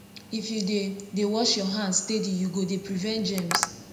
if you dey dey wash your hands steady you go dey prevent germs